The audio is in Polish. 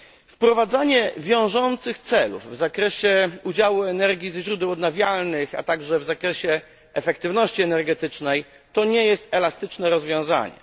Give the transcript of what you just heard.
Wprowadzanie wiążących celów w zakresie udziału energii ze źródeł odnawialnych, a także w zakresie efektywności energetycznej, to nie jest elastyczne rozwiązanie.